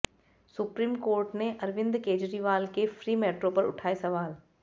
supreme court ने अरविंद केजरीवाल के free metro पर उठाए सवाल